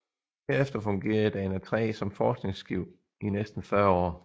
Herefter fungerede Dana III som forskningsskib i næsten 40 år